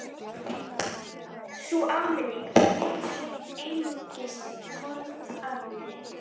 Sú áminning var vitaskuld einungis formsatriði!